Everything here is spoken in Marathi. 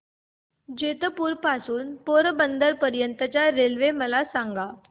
जेतपुर पासून ते पोरबंदर पर्यंत च्या रेल्वे मला सांगा